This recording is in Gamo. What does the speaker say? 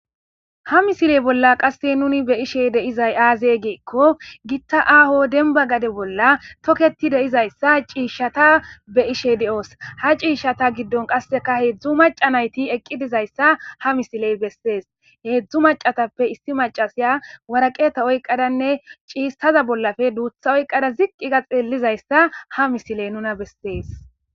ha misiley bolla qasse nuni be ishe deizay aazey geekko gitta aho denba gade bolla toketi deizayssa ciishshata be ishe de7oos ha ciishshata giddon qasseka heedzdzu maca nayti eqqi dizayssa ha misiley bessees heedzdzu macatappe issi macasiya waraqeeta oyqadanne ciistaza bollafe duutha oyqada ziqqiga xeellizayssa ha misile nuna bessees